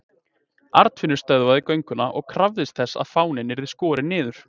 Arnfinnur stöðvaði gönguna og krafðist þess að fáninn yrði skorinn niður.